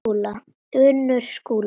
Unnur Skúla.